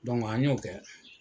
Dɔnku an y'o kɛ.